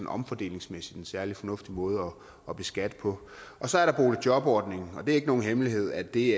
omfordelingsmæssigt en særlig fornuftig måde at beskatte på så er der boligjobordningen og det er ikke nogen hemmelighed at det